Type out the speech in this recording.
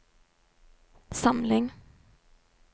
samling